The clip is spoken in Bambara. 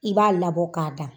I b'a labɔ ka da.